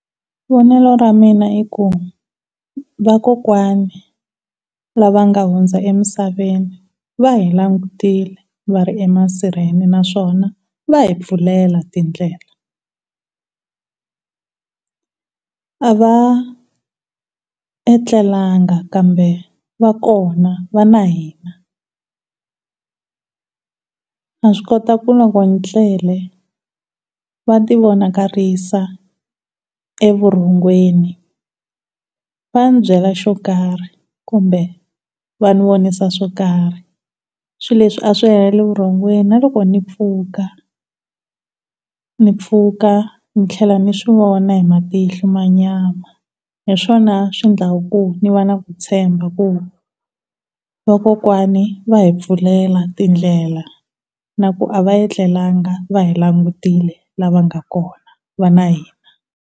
Vonelo ra mina iku vakokwani lava nga hundza emisaveni va hi langutile va ri emasirheni naswona va hi pfulela tindlela a va etlelanga kambe va kona va na hina na swi kota ku loko ni tlele va ti vonakarisa evurhongweni va ni byela swo karhi kumbe vani vonisa swo karhi swilo leswi a swi heleri evurhongweni na loko ni mpfhuka ni mpfhuka ni tlhela ni swi vona hi matihlo ya nyama hi swona swi endlaku ku niva na ku tshemba ku vakokwani va hi pfulela tindlela na ku va hi langutile va na hina.